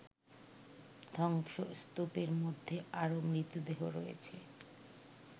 ধ্বংসস্তূপের মধ্যে আরও মৃতদেহ রয়েছে